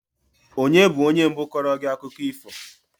Onye bụ onye mbụ kọọrọ gị akụkọ ifo?